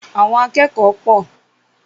Àwọn akẹ́kọ̀ọ́ pọ̀.